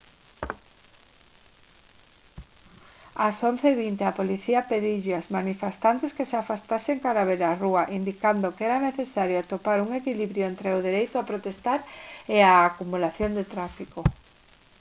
ás 11:20 h a policía pediulles aos manifestantes que se afastasen cara á beirarrúa indicando que era necesario atopar un equilibrio entre o dereito a protestar e a acumulación de tráfico